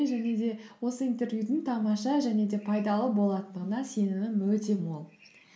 және де осы интервьюдің тамаша және де пайдалы болатындығына сенімім өте мол